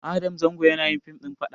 Adam zango yanayin fim ɗin faɗa